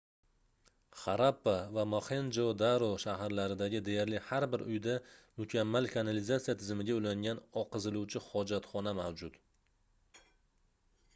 xarappa va moxenjo-daro shaharlaridagi deyarli har bir uyda mukammal kanalizatisya tizimiga ulangan oqiziluvchi hojatxona mavjud